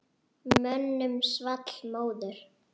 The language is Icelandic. Mönnum svall móður.